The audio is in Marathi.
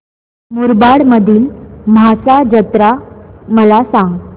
मुरबाड मधील म्हसा जत्रा मला सांग